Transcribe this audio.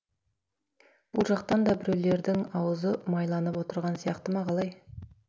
бұл жақтан да біреулердің аузы майланып отырған сияқты ма қалай